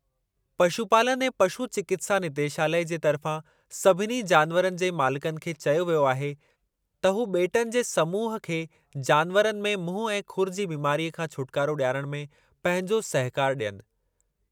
पशुपालन ऐं पशु चिकित्सा निदेशालयु जे तरिफ़ा सभिनी जानवरनि जे मालिकनि खे चयो वियो आहे त हू ॿेटनि जे समूह खे जानवरनि में मुंहुं ऐं खुरु जी बीमारीअ खां छोटिकारो ॾियारण में पंहिंजो सहकारु ॾियनि।